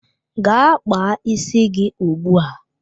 Gaa kpaa isi gị ugbu a!